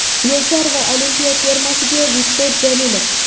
Yoshlar va Olimpiya termasiga Viktor Jalilov.